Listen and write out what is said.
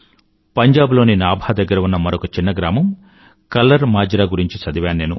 పంజాబ్ లోని నాభా దగ్గర ఉన్న మరొక చిన్న గ్రామం కల్లర్ మాజ్రా గురించి చదివాను నేను